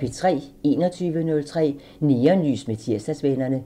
21:03: Neonlys med Tirsdagsvennerne